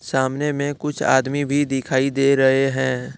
सामने में कुछ आदमी भी दिखाई दे रहे हैं।